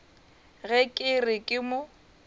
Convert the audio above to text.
ge ke re ke mo